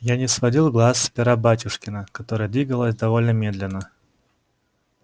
я не сводил глаз с пера батюшкина которое двигалось довольно медленно